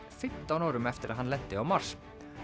fimmtán árum eftir að hann lenti á Mars